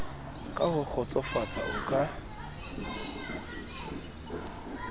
ka ho kgotsofatsa o ka